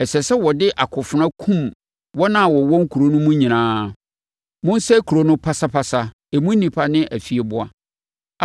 ɛsɛ sɛ wɔde akofena kunkum wɔn a wɔwɔ kuro no mu nyinaa. Monsɛe kuro no pasapasa, emu nnipa ne afieboa.